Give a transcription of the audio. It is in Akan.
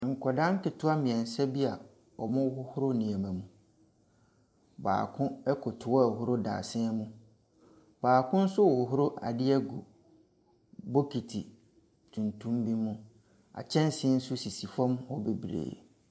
Nkwadaa nketewa mmeɛnsa bi a wɔrehohoro nneɛma mu. Baako koto hɔ rehohoro dadesɛn mu. Baako nso rehohoro adeɛ agu bokiti tuntum bi mu. Kyɛnsee nso sisi fam hɔ bebree.